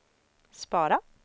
spara